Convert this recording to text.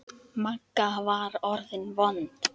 Magga var orðin vond.